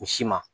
U si ma